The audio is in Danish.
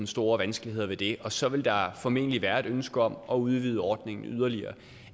store vanskeligheder ved det og så vil der formentlig være et ønske om at udvide ordningen yderligere